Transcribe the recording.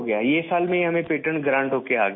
اس سال ہمیں patent grant ہوکر کے آگیا